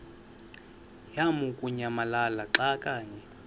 lamukunyamalala xa kanye